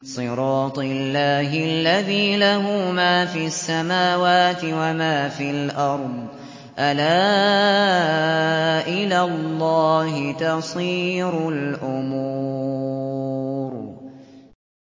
صِرَاطِ اللَّهِ الَّذِي لَهُ مَا فِي السَّمَاوَاتِ وَمَا فِي الْأَرْضِ ۗ أَلَا إِلَى اللَّهِ تَصِيرُ الْأُمُورُ